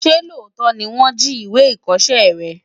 Ṣé tòótọ́ ni wọ́n jí ìwé ìkọṣẹ́ rẹ?